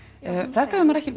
þetta hefur maður ekki